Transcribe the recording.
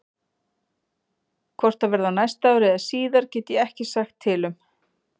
Hvort það verði á næsta ári eða síðar get ég ekki sagt til um.